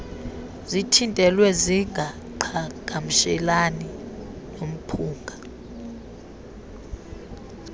zithintelwe zingaqhagamshelani nomphunga